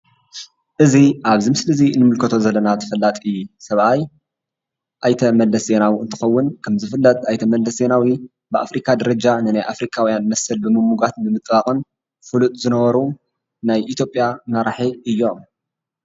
እዚ አብዚ ምስሊ እዚ እንምልከቶ ዘለና ተፈላጢ ሰብአይ አይተ መለስ ዜናዊ እንትኸውን ከምዝፍለጥ አይተ መለስ ዜናዊ ብአፍሪካ ደረጃ ንናይ አፍሪካውያን መሰል ብምምጓትን ብምጥባቅን ፍሉጥ ዝነበሩ ናይ ኢትዮጵያ መራሒ እዮም፡፡